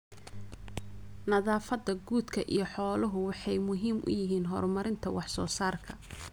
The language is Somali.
Nadaafadda quudka iyo xooluhu waxay muhiim u yihiin horumarinta wax soo saarka.